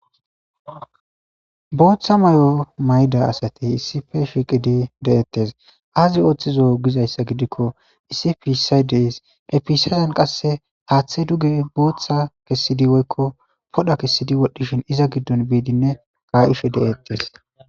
booththa mayo mayda asatey issife shiqidi deettes aazi ooththizo gizayssa gidikko isipiisay dees episazan qasse haaththe duge booththa kessidi woykko podha kessidi wodhdhishin iza giddon biidinne ka'ishe de'ettes